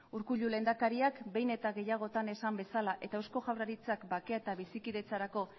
urkullu lehendakariak behin eta gehiagotan esan bezala eta eusko jaurlaritzak bakea eta bizikidetzarako